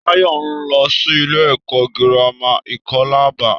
Táyọ̀ n lọ sí ilé ẹkọ gírámà Ikolaba.